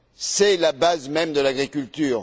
C'est la base même de l'agriculture.